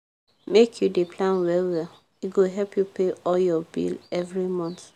make you dey plan well-well e go help you pay all your bill every month.